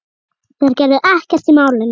Þeir gerðu ekkert í málinu.